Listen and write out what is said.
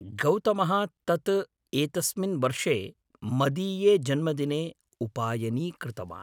गौतमः तत् एतस्मिन् वर्षे मदीये जन्मदिने उपायनीकृतवान्।